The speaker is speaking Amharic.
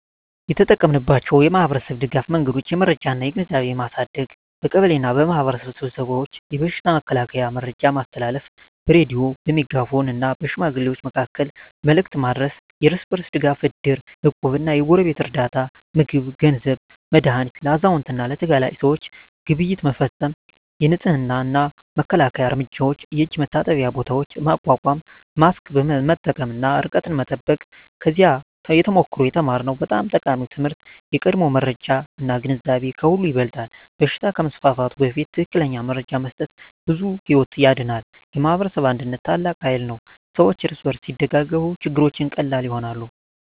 የተጠቀማችንባቸው የማኅበረሰብ ድጋፍ መንገዶች የመረጃ እና ግንዛቤ ማሳደግ በቀበሌ እና በማኅበረሰብ ስብሰባዎች የበሽታ መከላከያ መረጃ ማስተላለፍ በሬዲዮ፣ በሜጋፎን እና በሽማግሌዎች መካከል መልዕክት ማድረስ የእርስ በርስ ድጋፍ እድር፣ እቁብ እና የጎረቤት ርዳታ (ምግብ፣ ገንዘብ፣ መድሃኒት) ለአዛውንት እና ለተጋላጭ ሰዎች ግብይት መፈፀም የንፅህና እና መከላከያ እርምጃዎች የእጅ መታጠቢያ ቦታዎች ማቋቋም ማስክ መጠቀም እና ርቀት መጠበቅ ከዚያ ተሞክሮ የተማርነው በጣም ጠቃሚ ትምህርት የቀድሞ መረጃ እና ግንዛቤ ከሁሉ ይበልጣል በሽታ ከመስፋፋቱ በፊት ትክክለኛ መረጃ መስጠት ብዙ ሕይወት ያድናል። የማኅበረሰብ አንድነት ታላቅ ኃይል ነው ሰዎች እርስ በርስ ሲደጋገፉ ችግሮች ቀላል ይሆናሉ።